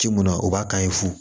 Ci mun na o b'a kan ye fu